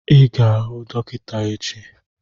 Ị ga-ahụ dọkịta echi